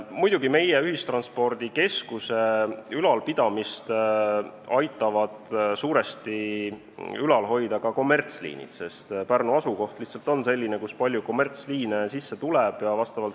Muidugi, meie ühistranspordikeskust aitavad suuresti ülal hoida ka kommertsliinid, sest Pärnu asukoht lihtsalt on selline, kuhu palju kommertsliine sisse tuleb.